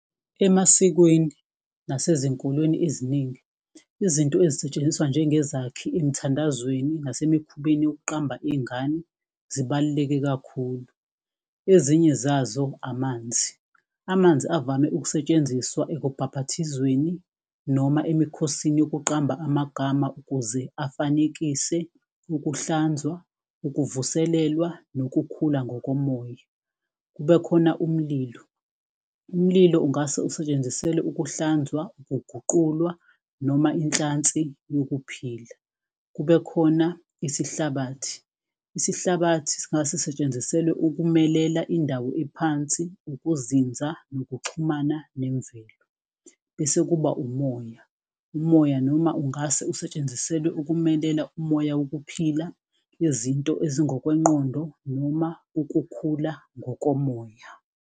Emasikweni nasezinkolweni eziningi, izinto ezisetshenziswa njengezakhi emthandazweni nase emikhubeni yokuqamba iy'ngane zibaluleke kakhulu. Ezinye zazo amanzi, amanzi avame ukusetshenziswa ekubhabhathizweni noma emikhosini yokuqamba amagama. Ukuze afanekise ukuhlanzwa, ukuvuselela, nokukhula ngokomoya. Kube khona umlilo, umlilo ungase usetshenziselwe ukuhlanzwa, ukuguqulwa noma inhlansi yokuphila. Kube khona isihlabathi, sihlabathi singase setshenziselwe ukumelela indawo ephansi, ukuzinza, nokuxhumana nemvelo. Bese kuba umoya, umoya noma ungase usetshenziselwe ukumelela umoya wokuphila. Izinto ezingokwengqondo noma ukukhula ngokomoya.